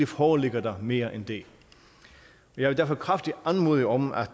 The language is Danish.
foreligger der mere end det jeg vil derfor kraftigt anmode om at